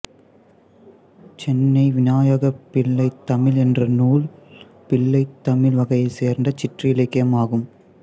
சென்னை விநாயகர் பிள்ளைதமிழ் என்ற நூல் பிள்ளைத்தமிழ் வகையைச் சேர்ந்த சிற்றிலக்கியம் ஆகும்